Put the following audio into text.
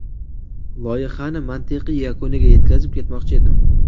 Loyihani mantiqiy yakuniga yetkazib, ketmoqchi edim.